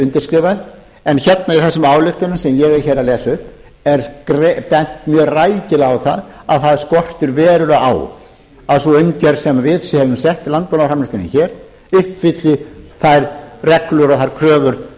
undirskrifað en hérna í þessum ályktunum sem ég er hér að lesa upp er bent mjög rækilega á að það skortir verulega á að sú umgjörð sem er sett landbúnaðarframleiðslunni uppfylli þær reglur og þær kröfur